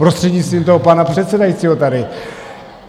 Prostřednictvím toho pana předsedajícího tady.